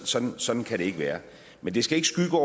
sådan sådan kan det ikke være men det skal ikke skygge for